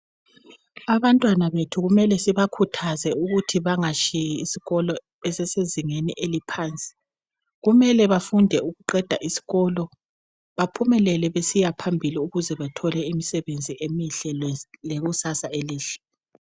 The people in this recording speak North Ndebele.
Abantwana bethu kumele sibakhuthaze ukuthi bangatshiyi isikolo besesezingeni eliphansi, kumele befunde ukuqeda isikolo baphumelele besiya phambili ukuze bethole imisebenzi emihle lekusasa elihle.